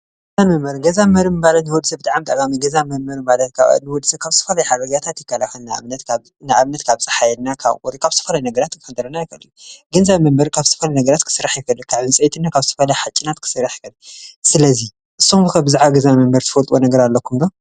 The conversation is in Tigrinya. ገዛን መንበርን ካብ ዝተፈላለዩ ይከላኸል ካብ ማይ፣ ኣራዊት ገዛ ካብ ሓፂን ፣እምንን እፅዋትን ይስራሕ።